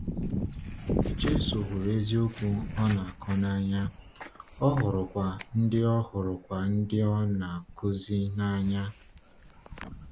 Jésù hụrụ eziokwu ọ na-akọ n’anya, ọ hụrụkwa ndị ọ hụrụkwa ndị ọ na-akụzi n’anya.